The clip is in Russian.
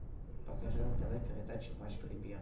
покажи на тв передачу матч премьер